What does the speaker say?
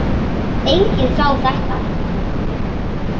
Enginn sá þetta.